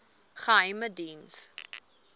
geheimediens